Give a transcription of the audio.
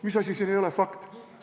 Mis asi siin ei ole fakt?